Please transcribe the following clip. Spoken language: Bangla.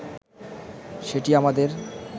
সেটি আমাদের